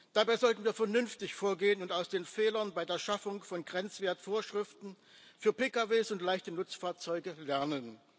Dabei sollten wir vernünftig vorgehen und aus den Fehlern bei der Schaffung von Grenzwertvorschriften für Pkw und leichte Nutzfahrzeuge lernen.